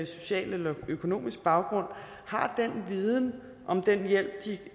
social eller økonomisk baggrund har den viden om den hjælp de